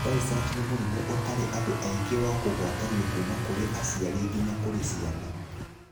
Tay sachs nĩ mũrimũ ũtarĩ andũ aingĩ wa kũgwatanio kuma kũrĩ aciari nginya kũrĩ ciana.